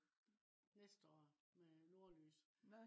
næste år med nordlys